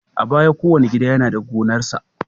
A baya, kowane gida yana da gonarsa.